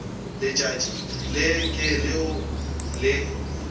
letšatši le ke leo le